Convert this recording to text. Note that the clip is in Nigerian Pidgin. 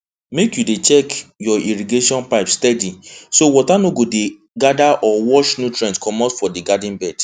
make you dey check your irrigation pipe steady so water no go dey gather or wash nutrient comot for garden bed